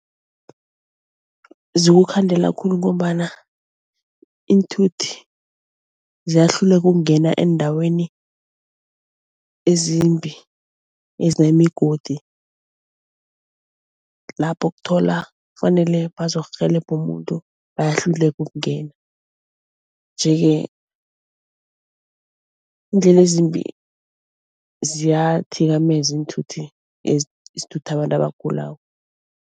Zikukhandela khulu ngombana iinthuthi ziyahluleka ukungena eendaweni ezimbi ezinemigodi lapho ukuthola kufanele bazokurhelebha umuntu bayahluleka ukungena nje-ke iindlela ezimbi ziyathikameza iinthuthi ezithutha abantu abagulako.